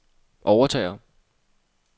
overtager